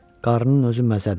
Qarının özü məzədi.